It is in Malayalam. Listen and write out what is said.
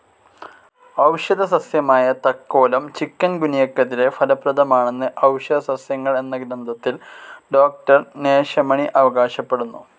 ഔഷധ സസ്യമായ തക്കോലം ചികുൻ ഗുനിയക്കെതിരെ ഫലപ്രദമാണെന്ന് ഔഷധസസ്യങ്ങൾ എന്ന ഗ്രന്ഥത്തിൽ ഡോക്ടർ നേശമണി അവകാശപ്പെടുന്നു.